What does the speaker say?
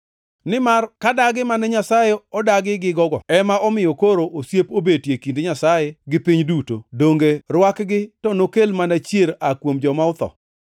Nimar ka dagi mane Nyasaye odagi gigo ema omiyo koro osiep obetie kind Nyasaye gi piny duto, donge rwakgi to nokel mana chier aa kuom joma otho?